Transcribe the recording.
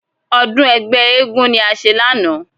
Ọdún ẹgbẹ́ eégún ni a ṣe lánàá.